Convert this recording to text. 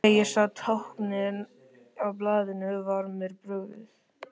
Þegar ég sá táknin á blaðinu var mér brugðið.